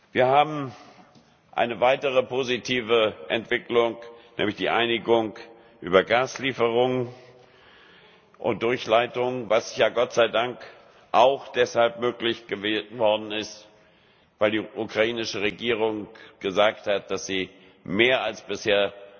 Wir haben eine weitere positive Entwicklung, nämlich die Einigung über Gaslieferungen und —durchleitung, was ja Gott sei Dank auch deshalb möglich geworden ist, weil die ukrainische Regierung gesagt hat, dass sie mehr Maßnahmen als bisher